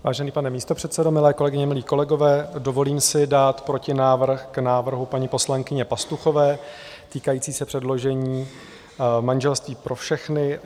Vážený pane místopředsedo, milé kolegyně, milí kolegové, dovolím si dát protinávrh k návrhu paní poslankyně Pastuchové, týkající se předložení manželství pro všechny.